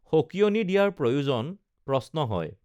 সঁকিয়নি দিয়াৰ প্ৰয়োজন প্ৰশ্ন হয়